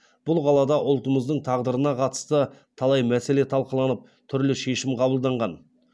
бұл қалада ұлтымыздың тағдырына қатысты талай мәселе талқыланып түрлі шешім қабылданған